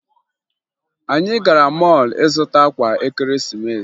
Anyị gara mọọlụ ịzụta akwa ekeresimesi